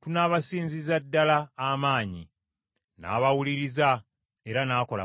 tunaabasinzizza ddala amaanyi.” N’abawuliriza era n’akola bw’atyo.